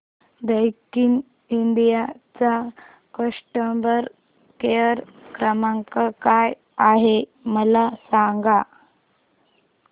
Daikin India चा customer care क्रमांक काय आहे मला सांगा